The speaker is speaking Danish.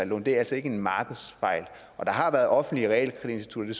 lån er altså ikke en markedsfejl og der har været offentlige realkreditinstitutter